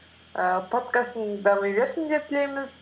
ііі подкастың дами берсін деп тілейміз